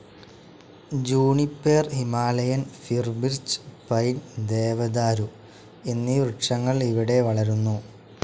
Juniper Himalayan fir birch pine ദേവതാരു എന്നീ വൃക്ഷങ്ങൾ ഇവിടെ വളരുന്നു.